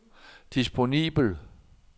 disponibel